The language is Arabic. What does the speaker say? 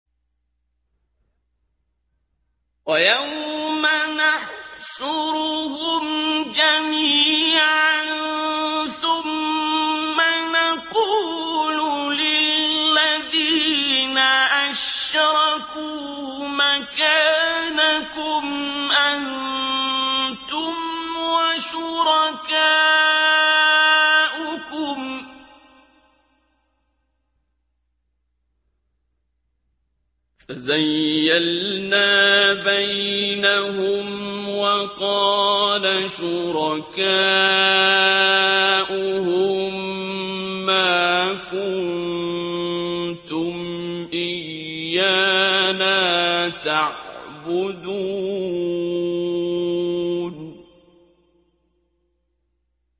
وَيَوْمَ نَحْشُرُهُمْ جَمِيعًا ثُمَّ نَقُولُ لِلَّذِينَ أَشْرَكُوا مَكَانَكُمْ أَنتُمْ وَشُرَكَاؤُكُمْ ۚ فَزَيَّلْنَا بَيْنَهُمْ ۖ وَقَالَ شُرَكَاؤُهُم مَّا كُنتُمْ إِيَّانَا تَعْبُدُونَ